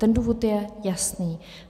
Ten důvod je jasný.